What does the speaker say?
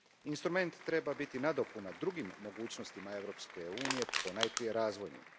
Instrument treba biti nadopuna drugim mogućnostima Europske unije, ponajprije razvojnima.